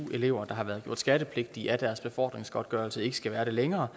elever der har været gjort skattepligtige af deres befordringsgodtgørelse ikke skal være det længere